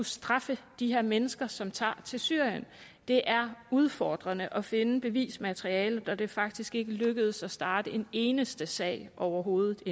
straffe de her mennesker som tager til syrien det er udfordrende at finde bevismaterialet og det er faktisk endnu ikke lykkedes at starte en eneste sag overhovedet